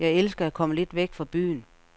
Jeg elsker at komme lidt væk fra byen.